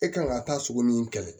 E kan ka taa sugu min kɛlɛ